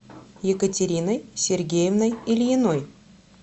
екатериной сергеевной ильиной